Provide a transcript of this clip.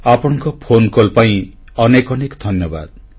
ଆପଣଙ୍କ ଫୋନକଲ ପାଇଁ ଅନେକ ଅନେକ ଧନ୍ୟବାଦ